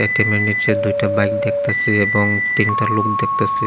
নিচে দুইটা বাইক দেখতাছি এবং তিনটা লোক দেখতাছি এ--